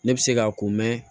Ne bɛ se k'a ko mɛ